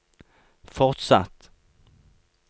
fortsatt